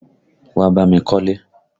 Wá bá mi kọ́lé!